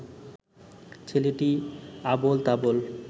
ছেলেটি আবোল তাবোল